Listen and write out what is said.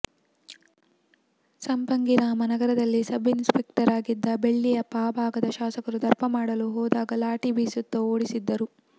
ಸಂಪಂಗಿರಾಮ ನಗರದಲ್ಲಿ sub inspector ಆಗಿದ್ದ ಬೆಳ್ಳಿಯಪ್ಪ ಆ ಭಾಗದ ಶಾಸಕರು ದರ್ಪ ಮಾಡಲು ಹೋದಾಗ ಲಾಠಿ ಬೀಸುತ್ತಾ ಓಡಿಸಿದ್ದರು